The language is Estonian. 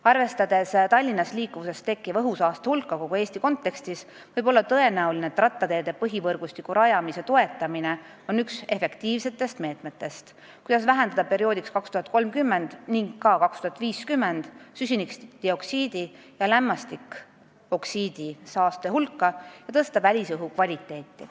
Arvestades Tallinnas liikuvusest tekkiva õhusaaste hulka kogu Eesti kontekstis, võib rattateede põhivõrgustiku rajamise toetamine olla üks efektiivsetest meetmetest, kuidas vähendada aastaks 2030 ja ka aastaks 2050 süsinikdioksiidist ja lämmastikoksiidist tekkiva saaste hulka ning tõsta välisõhu kvaliteeti.